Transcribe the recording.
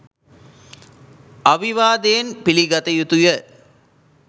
අවිවාදයෙන් පිළිගත යුතු ය.